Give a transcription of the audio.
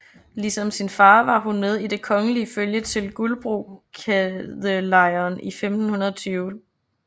Ligesom sin far var hun med i det kongelige følge til Guldbrokadelejren i 1520